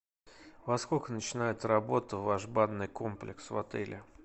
во сколько начинает работу ваш банный комплекс в отеле